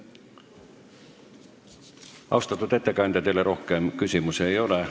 Austatud ettekandja, teile rohkem küsimusi ei ole.